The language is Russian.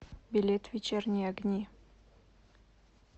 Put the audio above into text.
билет вечерние огни